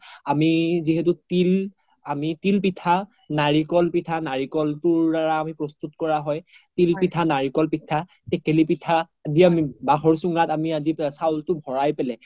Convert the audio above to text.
আমি যিহেতু তিল, তিল পিঠা নাৰিকল পিঠা নাৰিকল তোৰ দাৰা আমি প্ৰস্তুত কৰা হয় তিল পিঠা নাৰিকল পিঠা তেকেলি পিঠা আদি আমি বাহৰ চোঙাত আদি আমি চাউলতো ভৰাই পেলে